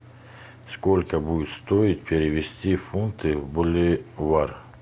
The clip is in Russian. сколько будет стоить перевести фунты в боливар